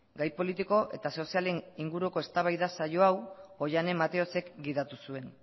gai politiko eta sozialen inguruko eztabaida saio hau oihane mateosek gidatu zuen